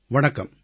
வணக்கம்